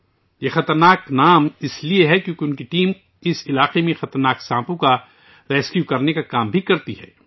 یہ خطرناک نام اس لیے ہے کیوں کہ ان کی ٹیم بھی اس علاقے میں خطرناک سانپوں کو بچانے کا کام کرتی ہے